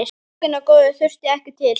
Bókina góðu þurfti ekki til.